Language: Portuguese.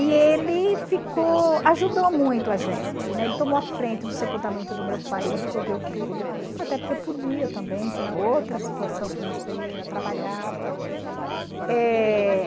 E ele ficou ajudou muito a gente, né, ele tomou a frente do sepultamento do meu pai, ele resolveu tudo, até porque podia também, tinha outra situação financeira, trabalhava. Eh...